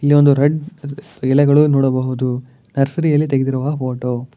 ಇಲ್ಲಿ ಒಂದು ರೆಡ್ ಇದ್ ಎಲೆಗಳು ನೋಡಬಹುದು ನರ್ಸರಿ ಯಲ್ಲಿ ತೆಗೆದಿರುವ ಫೋಟೋ .